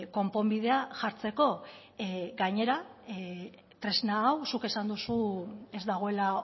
konponbidea jartzeko gainera tresna hau zuk esan duzu ez dagoela